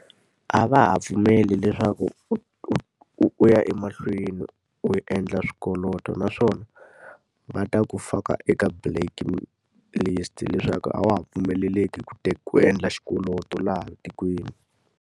A va ha pfumeli leswaku u u u ya emahlweni u endla swikweleti. Naswona va ta ku faka eka blacklist leswaku a wa ha pfumeleleki ku ku endla xikwelwti laha tikweni.